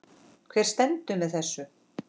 Hver stendur fyrir þessu?